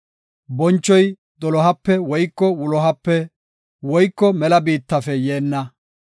Bonchoy dolohape woyko wulohape woyko mela biittafe yeenna.